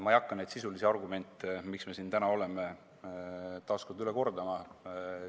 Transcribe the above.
Ma ei hakka neid sisulisi argumente, miks me täna siin oleme, taas üle kordama.